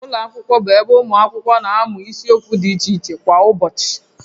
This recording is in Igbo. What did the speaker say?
Ụlọ akwụkwọ bụ ebe ụmụ akwụkwọ na-amụ isiokwu dị iche iche kwa ụbọchị